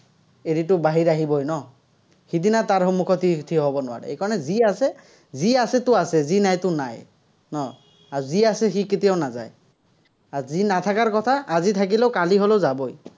এদিনতো বাহিৰ আহিবই ন। সিদিনা তাৰ সন্মূখত থিয় হব নোৱাৰে, সেইকাৰণে যি আছে, যি আছেতো আছে, যি নাইতো নাই। ন? আৰু যি আছে সি কেতিয়াও নাগায়। আৰু যি নাথাকাৰ কথা, আজি থাকিলেও কালি হ'লেও যাবই।